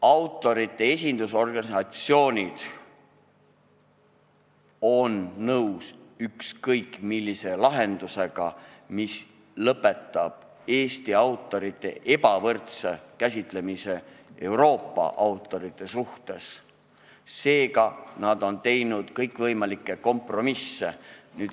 Autorite esindusorganisatsioonid on nõus ükskõik millise lahendusega, mis lõpetab Eesti autorite ebavõrdse kohtlemise võrreldes Euroopa autoritega, seega on nad teinud kõikvõimalikke kompromisse.